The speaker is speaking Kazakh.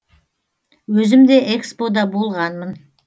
өзім де экспо да болғанмын